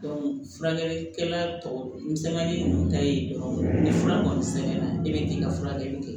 furakɛlikɛla tɔ n sɛgɛnnen nu ta ye dɔrɔn ni fura kɔni sɛbɛnna i bɛ k'i ka furakɛli kɛ